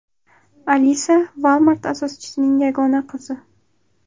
Alisa Walmart asoschisining yagona qizi.